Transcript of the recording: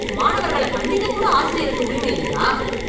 மாணவர்கள கண்டிக்க கூட ஆசிரியருக்கு உரிமை இல்லையா?